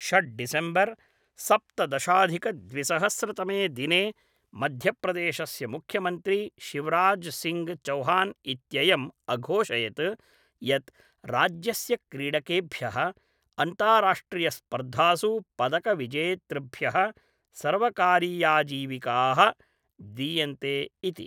षड् डिसेम्बर् सप्तदशाधिकद्विसहस्रतमे दिने मध्यप्रदेशस्य मुख्यमन्त्री शिवराज् सिङ्घ् चौहान् इत्ययम् अघोषयत् यत् राज्यस्य क्रीडकेभ्यः अन्ताराष्ट्रियस्पर्धासु पदकविजेतृभ्यः सर्वकारीयाजीविकाः दीयन्ते इति।